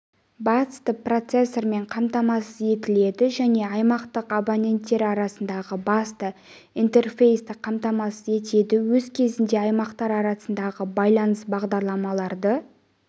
басты процессормен қамтамасыз етіледі және аймақтық абонентері арасындағы басты интерфейсті қамтамасыз етеді өз кезегінде аймақтар арасындағы байланыс бағдарламаларды